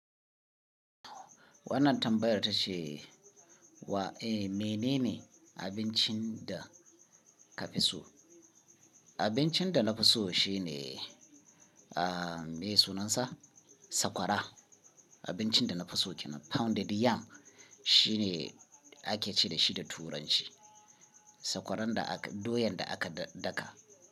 Wannan tambayar ta ce wa, eh menene abincin da ka fi so? Abincin da na fi so shine, ah me sunansa sakwara. Abincin da na fi so kena pounded yam shine ake ce da shi da turanci. Sakwarar da aka, doyan da aka daka.